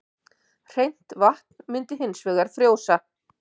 Hreint vatn myndi hins vegar frjósa.